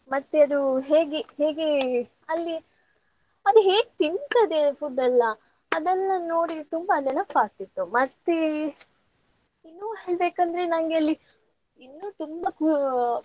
ಮತ್ತೆ ಅದು ಹೇಗೆ ಹೇಗೆ ಅಲ್ಲಿ ಅದ್ ಹೇಗ್ ತಿಂತದೆ food ಎಲ್ಲಾ ಅದೆಲ್ಲ ನೋಡಿ ತುಂಬಾ ನೆನಪಾಗ್ತಿತ್ತು. ಮತ್ತೆ ಇನ್ನು ಹೇಳ್ಬೆಕಂದ್ರೆ ನಂಗೆ ಅಲ್ಲಿ ಇನ್ನು ತುಂಬ ಆ.